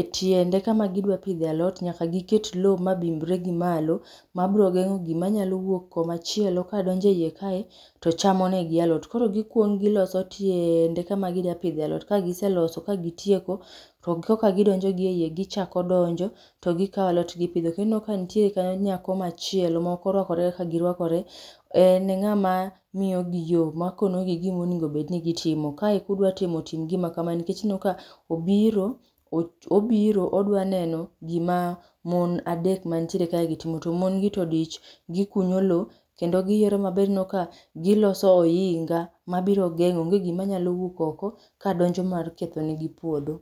etiende kama gidwa pidhe alot nyaka giket loo madimbre gi malo mabro gengo gima nyalo wuok kumachielo kadonjo iye kae to chamo negi alot. Koro gikuong giloso tiende kama ginya pidhe alot kagiseloso ka gitieko to koka gidonjo gi eiye gichako donjo to gikaw alot gipidho. Kendo ineno ka nitie kanyo nyako machielo maok orwakore kaka girwakore ,en e ngama miyodi yoo makono gi gima owinjo bedni gitimo. Kae kudwa timo, tim gima kamae, nikech ineno ka obiro, obiro odwa neno gima mon adek mantiere kae gi timo, to mon gi to odich gikunyo loo kendo giyiero maber ineno ka giloso ohinga mabiro gengo onge gima nyalo wuok oko kadonjo mar ketho negi puodho